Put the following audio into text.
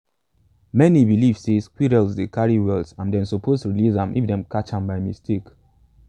many believe say squirrels dey carry wealth and them suppose release am if them catch am by mistake.